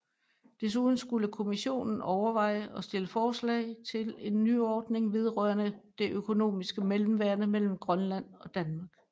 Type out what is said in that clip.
Desuden skulle Kommissionen overveje og stille forslag til en nyordning vedrørende det økonomiske mellemværende mellem Grønland og Danmark